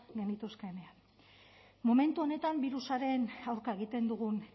genituzkenean momentu honetan birusaren aurka egiten dugun